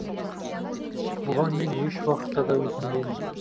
бұған мен ешуақытта да өкінбеймін